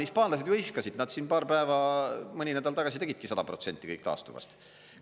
Hispaanlased ju hõiskasid, nad siin paar päeva või mõni nädal tagasi tegidki 100% kõik taastuvast.